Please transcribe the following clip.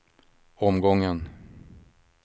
omgången